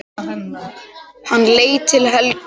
Hann leit til Helgu.